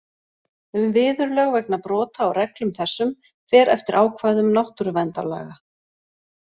Um viðurlög vegna brota á reglum þessum fer eftir ákvæðum náttúruverndarlaga.